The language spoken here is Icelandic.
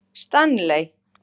Stanley